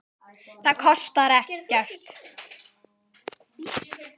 Það kostar ekkert.